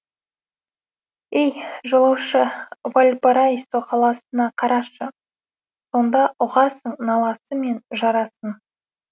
ей жолаушы вальпараисо қаласына қарашы сонда ұғасың наласы мен жарасын